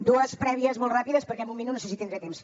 dues prèvies molt ràpides perquè amb un minut no sé si tindré temps